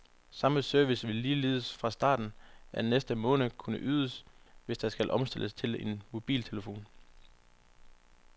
Samme service vil ligeledes fra starten af næste måned kunne ydes, hvis der skal omstilles til en mobiltelefon.